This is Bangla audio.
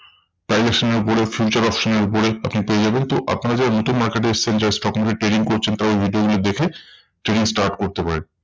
এর উপরে future option এর উপরে আপনি পেয়ে যাবেন। তো আপনারা যারা নতুন market এ এসেছেন যারা stock market trading করছেন তারা video গুলো দেখে trading start করতে পারেন।